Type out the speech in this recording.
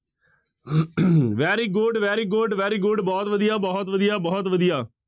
very good, very good, very good ਬਹੁਤ ਵਧੀਆ, ਬਹੁਤ ਵਧੀਆ, ਬਹੁਤ ਵਧੀਆ।